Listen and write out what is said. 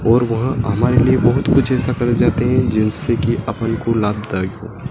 और वह हमारे लिए बहुत कुछ ऐसा करे जाते हैं जिनसे कि अपन को लाभदायक हो।